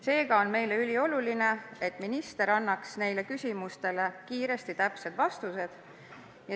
Seega on meie jaoks ülioluline, et minister annaks neile küsimustele kiiresti täpsed vastused.